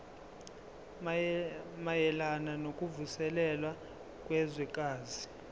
mayelana nokuvuselela kwezwekazi